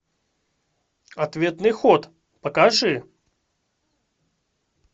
ответный ход покажи